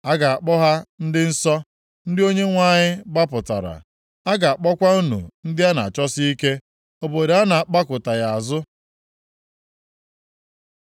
A ga-akpọ ha Ndị Nsọ, ndị Onyenwe anyị gbapụtara; a ga-akpọkwa unu ndị a na-achọsi ike, Obodo a na-agbakụtaghị azụ.